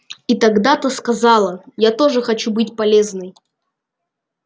и тогда та сказала я тоже хочу быть полезной